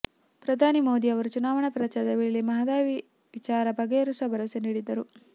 ಪ್ರಧಾನಿ ಮೋದಿ ಅವರು ಚುನಾವಣಾ ಪ್ರಚಾರದ ವೇಳೆ ಮಹದಾಯಿ ವಿವಾದ ಬಗೆಹರಿಸುವ ಭರವಸೆ ನೀಡಿದ್ದರು